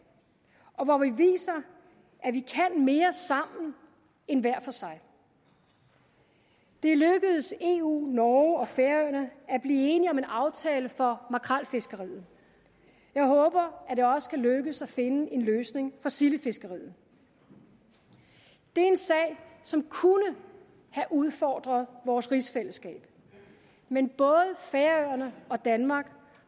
og hvor vi viser at vi kan mere sammen end hver for sig det lykkedes eu norge og færøerne at blive enige om en aftale for makrelfiskeriet jeg håber at det også kan lykkes at finde en løsning for sildefiskeriet det er en sag som kunne have udfordret vores rigsfællesskab men både færøerne og danmark